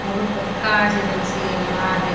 बोहोत बड़का छे एकदमसी लोहा।